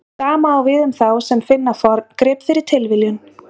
Sama á við um þá sem finna forngrip fyrir tilviljun.